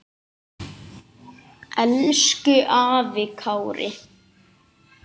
Elsku afi Kári.